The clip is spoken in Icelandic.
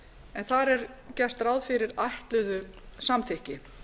en þar er gert ráð fyrir ætluðu samþykki